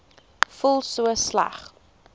voel so sleg